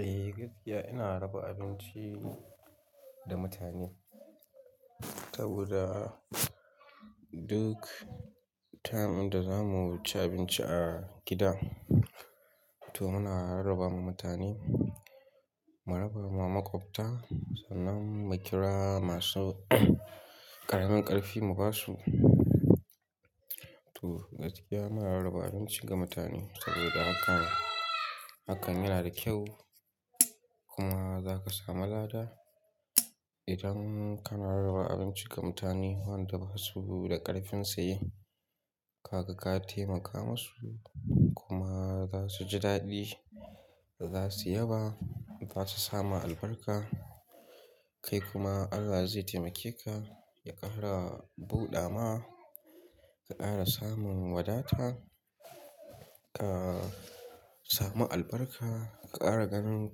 Eh gaskiya ina raba abinci da mutane saboda duk time inda za mu wuce abinci a gida to muna rarraba ma mutane. Mu rarraba ma makwabta sannan mu kira masu ƙaramin ƙarfi mu ba su. To gaskiya muna rarraba abinci ga mutane saboda hakan, hakan yana da kyau kuma za ka sami lada. Idan kana rarraba abinci ga mutane wanda ba su da ƙarfinsa ye ka ga ka taimaka masu kuma za su ji daɗi, za su yaba, za su sami albarka. Kai kuma Allah zai taimake ka, ya ƙara buɗawa, ka ƙara samun wadata, ka sami albarka, ka ƙara ganin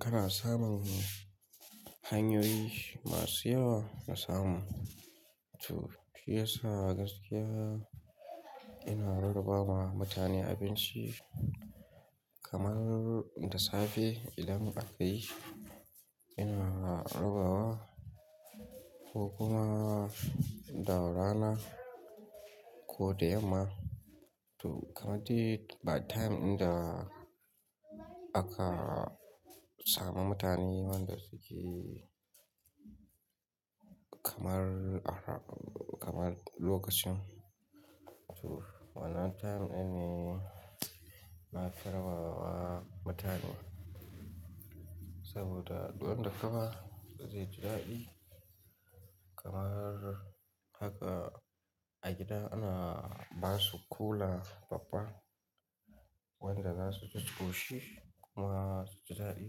kana samun hanyoyi masu yawa na samu. To shiyasa gaskiya ina rarraba ma mutane abinci kamar da safe idan aka yi ina rarrabawa ko kuma da rana ko da yamma. To kamar duk wani time inda aka samu mutane wanda dashi kamar, kamar lokacin to wannan time ne na rarrabawa mutane saboda duk wanda ka ba zai ji daɗi kamar haka a gida ana ba su kula babba wanda za su ji tushi kuma su ji daɗi.